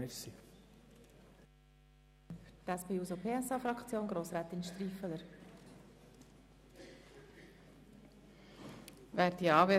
Für die SP-JUSO-PSA-Fraktion hat Grossrätin Striffeler das Wort.